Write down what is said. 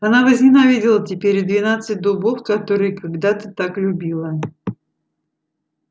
она возненавидела теперь и двенадцать дубов которые когда-то так любила